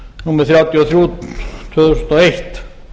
númer þrjátíu og þrjú tvö þúsund og eitt